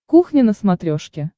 кухня на смотрешке